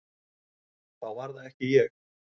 Þá var það ekki ég!